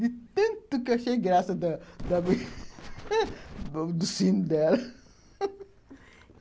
de tanto que achei graça da do sino dela